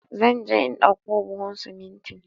Zan je in ɗauko buhun simintin